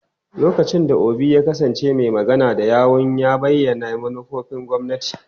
Lokacin da Obi ya kasance mai magana da yawun, ya bayyana manufofin gwamnati.